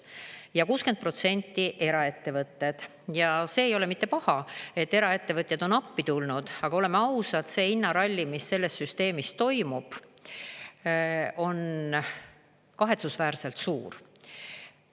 Ja 60% pakuvad eraettevõtted ja see ei ole mitte paha, et eraettevõtjad on appi tulnud, aga oleme ausad, see hinnaralli, mis selles süsteemis toimub, on kahetsusväärselt suur.